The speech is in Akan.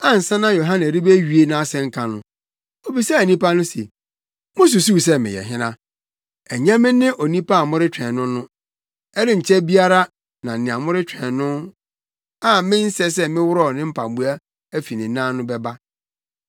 Ansa na Yohane rebewie nʼasɛnka no, obisaa nnipa no se, ‘Mususuw sɛ meyɛ hena? Ɛnyɛ me ne onipa a moretwɛn no no. Ɛrenkyɛ biara na nea moretwɛn no a mensɛ sɛ mɛworɔw ne mpaboa afi ne nan no bɛba.’